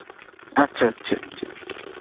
আচ্ছা আচ্ছাআচ্ছা